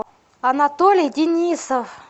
анатолий денисов